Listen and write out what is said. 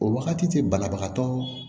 O wagati tɛ banabagatɔ